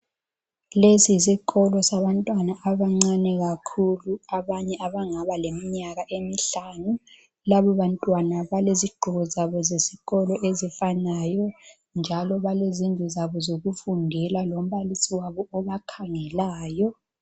Lesi yisikolo sabantwana abancane kakhulu, abanye abangaba leminyaka emihlanu. Labobantwana balezigqoko zabo zesikolo ezifanayo njalo balezindlu zabo zokufundela lombalisi wabo obakhangelayo.